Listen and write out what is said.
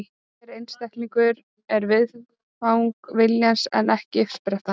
Hver einstaklingur er viðfang viljans en ekki uppspretta hans.